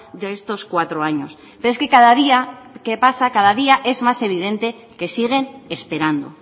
de estos cuatro años pero es que cada día que pasa cada día es más evidente que siguen esperando